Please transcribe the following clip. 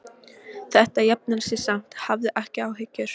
Þetta jafnar sig samt, hafðu ekki áhyggjur.